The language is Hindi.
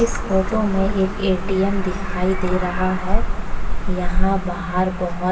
इस फोटो में एक एटीएम दिखाई दे रहा है। यहाँ बाहर बहोत --